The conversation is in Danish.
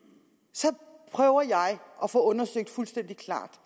så prøver jeg at få undersøgt fuldstændig klart